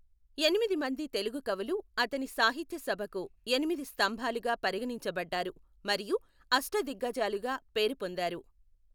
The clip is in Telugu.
ఎనిమిది మంది తెలుగు కవులు అతని సాహిత్య సభకు ఎనిమిది స్తంభాలుగా పరిగణించబడ్డారు మరియు అష్టదిగ్గజాలుగా పేరు పొందారు.